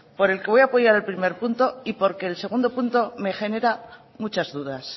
por el que voy a apoyar al primer punto y porque el segundo punto me genera muchas dudas